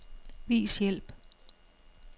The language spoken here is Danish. Vis hjælp.